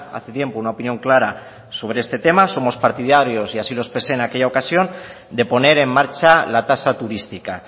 hace tiempo una opinión clara sobre este tema somos partidarios y así lo expresé en aquella ocasión de poner en marcha la tasa turística